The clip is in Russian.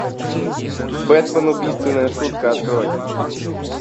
бэтмен убийственная шутка открой